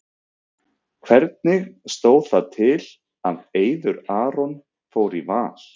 Hvernig stóð það til að Eiður Aron fór í Val?